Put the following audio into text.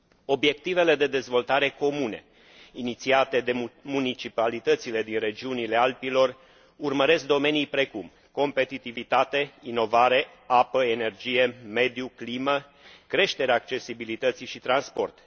Obiectivele de dezvoltare comune, inițiate de municipalitățile din regiunile Alpilor urmăresc domenii precum competitivitate, inovare, apă, energie, mediu, climă, creșterea accesibilității și transport.